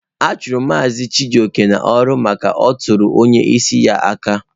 A chụrụ Mazị Chijioke n'ọrụ maka na ọ tụrụ onye isi ya aka.